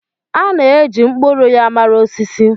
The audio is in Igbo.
A na-eji mkpụrụ ya mara osisi.